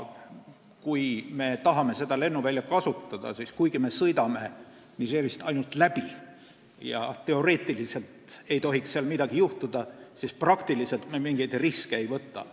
Kui me tahame seda lennuvälja kasutada, siis kuigi me sõidame Nigerist ainult läbi ja teoreetiliselt ei tohiks seal midagi juhtuda, me praktiliselt mingeid riske ei võta.